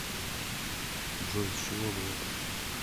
джой с чего бы это